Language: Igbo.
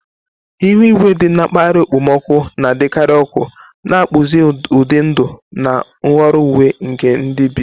Ihu igwe dị na mpaghara okpomọkụ na-adịkarị ọkụ, na-akpụzi ụdị ndụ na nhọrọ uwe nke ndị bi.